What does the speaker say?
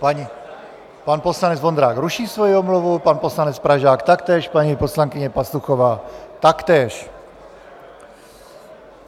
Pan poslanec Vondrák ruší svoji omluvu, pan poslanec Pražák taktéž, paní poslankyně Pastuchová taktéž.